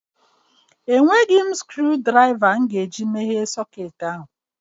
Enweghị m screwdrịva iji meghee socketị ahụ